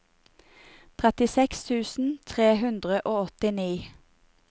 trettiseks tusen tre hundre og åttini